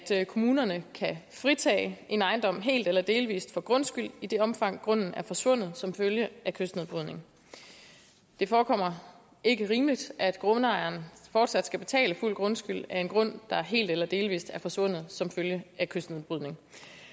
kommunerne kan fritage en ejendom helt eller delvis for grundskyld i det omfang grunden er forsvundet som følge af kystnedbrydning det forekommer ikke rimeligt at grundejeren fortsat skal betale fuld grundskyld af en grund der helt eller delvis er forsvundet som følge af kystnedbrydning